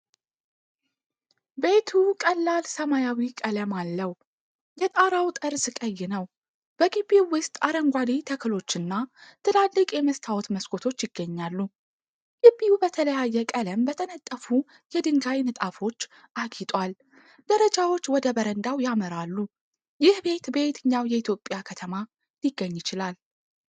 ቤቱ ቀላል ሰማያዊ ቀለም አለው፣ የጣራው ጠርዝ ቀይ ነው፤ በግቢው ውስጥ አረንጓዴ ተክሎችና ትላልቅ የመስታወት መስኮቶች ይገኛሉ። ግቢው በተለያየ ቀለም በተነጠፉ የድንጋይ ንጣፎች አጊጧል፣ ደረጃዎች ወደ በረንዳው ያመራሉ። ይህ ቤት በየትኛው የኢትዮጵያ ከተማ ሊገኝ ይችላል?